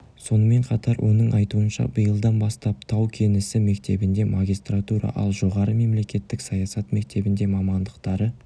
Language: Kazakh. сонымен қатар оның айтуынша биылдан бастап тау-кен ісі мектебінде магистратура ал жоғары мемлекеттік саясат мектебінде мамандықтары